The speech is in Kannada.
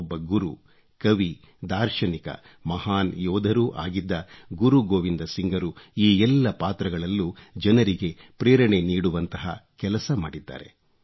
ಒಬ್ಬ ಗುರು ಕವಿ ದಾರ್ಶನಿಕ ಮಹಾನ್ ಯೋಧರೂ ಆಗಿದ್ದ ಗುರು ಗೋವಿಂದ್ ಸಿಂಗ್ರು ಈ ಎಲ್ಲ ಪಾತ್ರಗಳಲ್ಲೂ ಜನರಿಗೆ ಪ್ರೇರಣೆ ನೀಡುವಂಥ ಕೆಲಸ ಮಾಡಿದ್ದಾರೆ